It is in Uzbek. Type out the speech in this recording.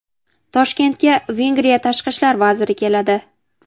Toshkentga Vengriya tashqi ishlar vaziri keladi.